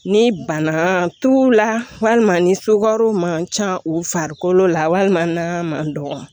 Ni bana t'u la walima ni sukaro man ca u farikolo la walima na man dɔgɔ